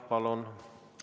Palun!